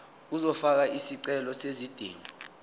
uzofaka isicelo sezidingo